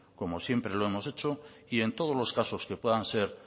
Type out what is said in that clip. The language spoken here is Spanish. como siempre lo hemos hecho y en todos los casos que puedan ser